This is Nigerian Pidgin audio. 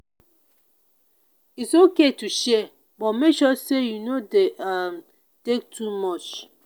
it’s okay to share but make sure say you no dey um take too much.